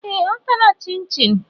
Ee! Ọ tara Chịnchịn.